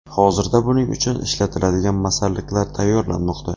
Hozirda buning uchun ishlatiladigan masalliqlar tayyorlanmoqda.